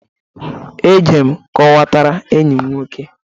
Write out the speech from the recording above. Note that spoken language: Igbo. Ejere m kọwatara enyi m nwoke.